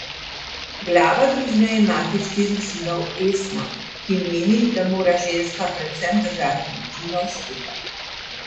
Glava družine je mati štirih sinov Esma, ki meni, da mora ženska predvsem držati družino skupaj.